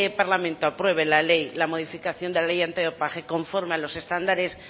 parlamento aprueba la modificación de la ley antidopaje conforme a los estándares